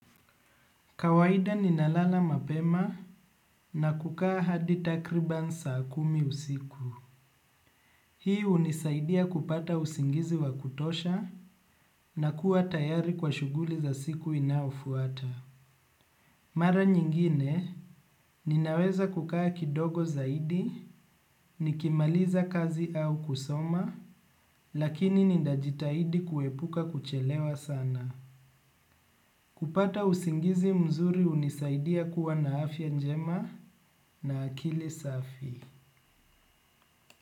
Kawahida ninalala mapema na kukaa hadi takriban saa kumi usiku. Hii unisaidia kupata usingizi wa kutosha na kuwa tayari kwa shuguli za siku inaofuata. Mara nyingine, ninaweza kukaa kidogo zaidi, nikimaliza kazi au kusoma, lakini ninajitahidi kuepuka kuchelewa sana. Kupata usingizi mzuri unisaidia kuwa na afya njema na akili safi. Kwa hivyo.